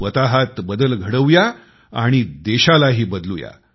स्वतःत बदल घडवू या आणि देशालाही बदलू या